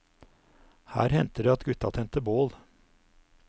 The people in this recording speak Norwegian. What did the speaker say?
Her hendte det at gutta tente bål.